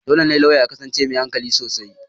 Dole ne lauya ya kasance mai hankali sosai.